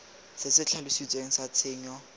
se se tlhalositsweng sa tshenyo